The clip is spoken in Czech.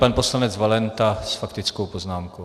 Pan poslanec Valenta s faktickou poznámkou.